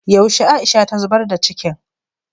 yaushe Aisha ta zubar da cikin